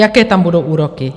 Jaké tam budou úroky?